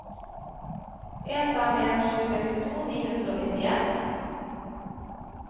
en fem en sju sekstito ni hundre og nittien